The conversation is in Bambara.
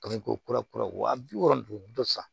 Kami ko kura kura wa bi wɔɔrɔ don sa